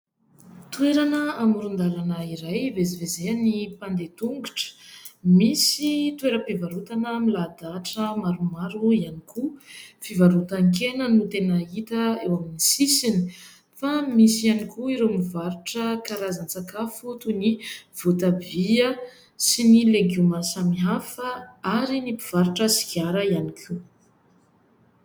Toerana amoron-dalana iray ivezivezehan'ny mpandeha tongotra. Misy toeram-pivarotana milahadahatra maromaro ihany koa. Fivarotan-kena no tena hita eo amin'ny sisiny fa misy ihany koa ireo mivarotra karazan-tsakafo toy ny voatabia sy ny legioma samihafa ary ny mpivarotra sigara ihany koa.